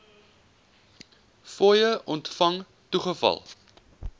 fooie ontvang toegeval